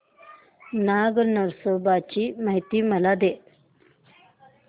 नाग नरसोबा ची मला माहिती दे